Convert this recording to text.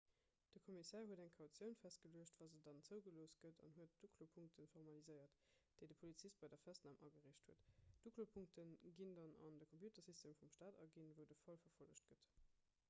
de kommissär huet eng kautioun festgeluecht wa se dann zougelooss gëtt an huet d'uklopunkte formaliséiert déi de polizist bei der festnam agereecht huet d'uklopunkte ginn dann an de computersystem vum stat aginn wou de fall verfollegt gëtt